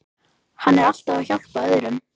Hann er alltaf að hjálpa öðrum.